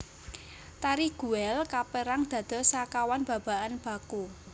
Tari Guel kaperang dados sekawan babakan baku